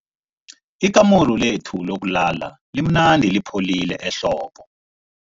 Ikamuru lethu lokulala limnandi lipholile ehlobo.